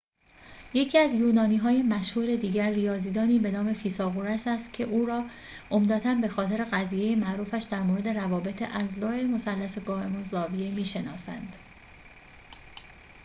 یکی از یونانی‌های مشهور دیگر ریاضی‌دانی به نام فیثاغورس است که او را عمدتاً به‌خاطر قضیه معروفش در مورد روابط اضلاع مثلث قائم‌الزاویه می‌شناسند